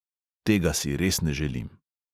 Tega si res ne želim.